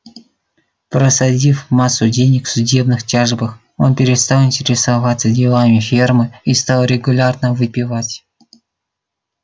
просадив массу денег в судебных тяжбах он перестал интересоваться делами фермы и стал регулярно выпивать